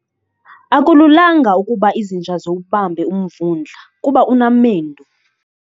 Akululanga ukuba izinja ziwubambe umvundla kuba unamendu.